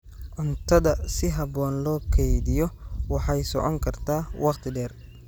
Cuntada si habboon loo kaydiyo waxay socon kartaa waqti dheer.